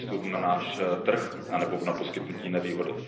přístup na náš trh nebo na poskytnutí nevýhody.